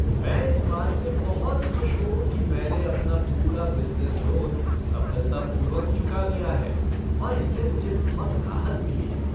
मैं इस बात से बहुत खुश हूँ कि मैंने अपना पूरा बिजनेस लोन सफलतापूर्वक चुका दिया है और इससे मुझे बहुत राहत मिली है।